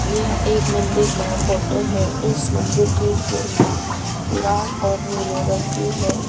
यह एक मंदिर का फोटो है इस मंदिर की सीढ़ियां लाल और नीले रंग की है।